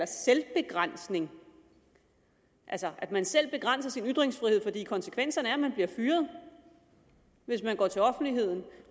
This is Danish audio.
selvbegrænsning altså at man selv begrænser sin ytringsfrihed fordi konsekvenserne er at man bliver fyret hvis man går til offentligheden